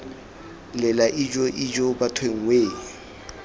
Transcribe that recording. lela ijoo ijoo bathong wee